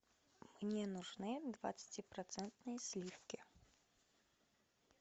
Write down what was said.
мне нужны двадцати процентные сливки